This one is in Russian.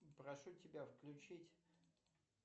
прошу тебя включить